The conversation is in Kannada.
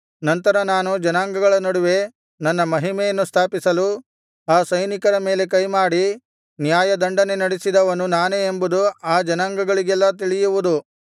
ನಂತರ ನಾನು ಜನಾಂಗಗಳ ನಡುವೆ ನನ್ನ ಮಹಿಮೆಯನ್ನು ಸ್ಥಾಪಿಸಲು ಆ ಸೈನಿಕರ ಮೇಲೆ ಕೈಮಾಡಿ ನ್ಯಾಯದಂಡನೆ ನಡೆಸಿದವನು ನಾನೇ ಎಂಬುದು ಆ ಜನಾಂಗಗಳಿಗೆಲ್ಲಾ ತಿಳಿಯುವುದು